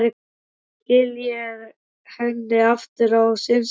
Svo skila ég henni aftur á sinn stað.